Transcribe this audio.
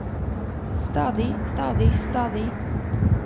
stadig stadig stadig